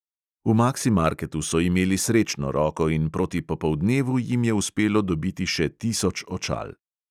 V maksimarketu so imeli srečno roko in proti popoldnevu jim je uspelo dobiti še tisoč očal.